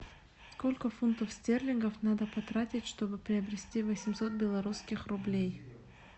сколько фунтов стерлингов надо потратить чтобы приобрести восемьсот белорусских рублей